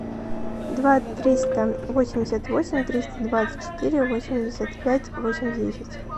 два триста восемьдесят восемь триста двадцать четыре восемьдесят пять восемь десять